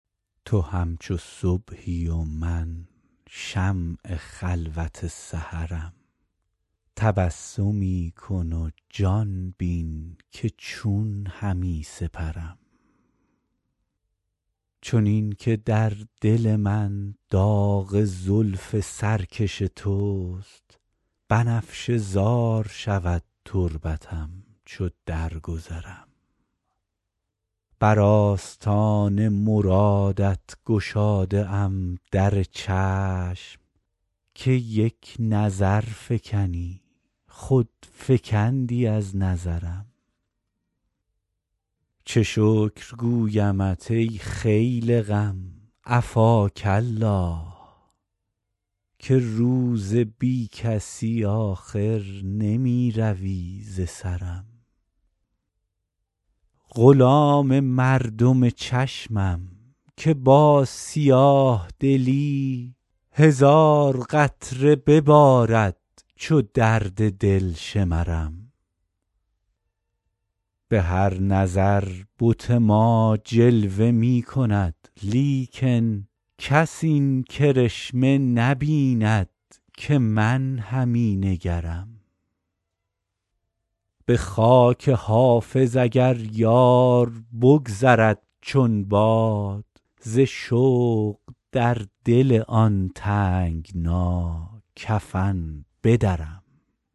تو همچو صبحی و من شمع خلوت سحرم تبسمی کن و جان بین که چون همی سپرم چنین که در دل من داغ زلف سرکش توست بنفشه زار شود تربتم چو درگذرم بر آستان مرادت گشاده ام در چشم که یک نظر فکنی خود فکندی از نظرم چه شکر گویمت ای خیل غم عفاک الله که روز بی کسی آخر نمی روی ز سرم غلام مردم چشمم که با سیاه دلی هزار قطره ببارد چو درد دل شمرم به هر نظر بت ما جلوه می کند لیکن کس این کرشمه نبیند که من همی نگرم به خاک حافظ اگر یار بگذرد چون باد ز شوق در دل آن تنگنا کفن بدرم